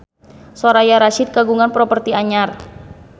Soraya Rasyid kagungan properti anyar